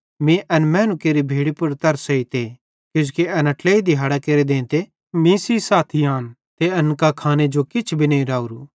मीं एन मैनू केरि भीड़ी पुड़ तरस एइते किजोकि एना ट्लेइ दिहाड़ां केरे देंते मीं सेइं साथी आन ते एन कां खाने जो किछ नईं राओरू